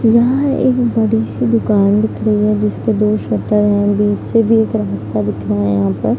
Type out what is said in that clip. यहाँ एक बड़ी सी दुकान दिख रही है जिसपे दो शटर हैं बीच से भी एक रास्ता दिख रहा है यहाँ पर।